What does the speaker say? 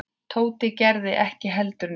Tóti gerði ekki heldur neitt.